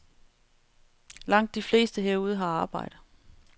Langt de fleste herude har arbejde.